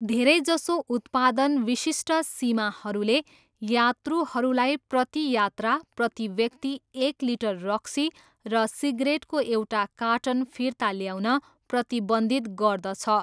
धेरैजसो उत्पादन विशिष्ट सीमाहरूले यात्रुहरूलाई प्रति यात्रा, प्रति व्यक्ति एक लिटर रक्सी र सिगरेटको एउटा कार्टन फिर्ता ल्याउन प्रतिबन्धित गर्दछ।